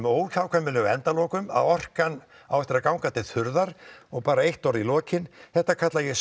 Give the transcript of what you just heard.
óhjákvæmilegu endalokum orkan á eftir að ganga til þurrðar og bara eitt orð í lokin þetta kalla ég